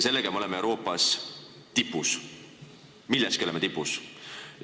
Sellega me oleme Euroopas tipus – milleski oleme tipus!